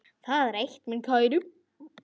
Það er eitt, minn kæri.